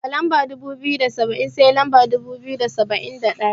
Daga Lamba dubu biyu da saba'in, sai lamba dubu biyu da saba'in da ɗaya.